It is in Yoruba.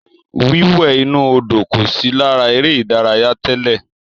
Wíwẹ̀ inú Odò kò sí lára eré ìdárayá tẹ́lẹ̀.